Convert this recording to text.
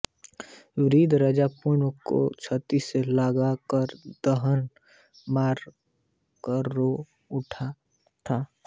वृद्ध राजा पूर्णमल को छाती से लगा कर दहाड़ मार कर रो उठता है